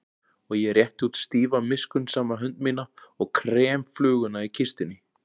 Og ég rétti út stífa miskunnsama hönd mína og krem fluguna í kistunni.